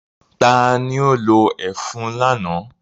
Ta ni ó lo ẹfun lánàá?